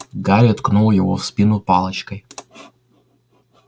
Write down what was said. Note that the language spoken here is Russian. гарри ткнул его в спину палочкой